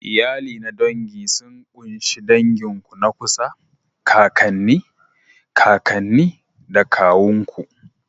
Iyali na dangi sun ƙunshi dangin ku na kusa, kakanni, kakanni da kawun ku.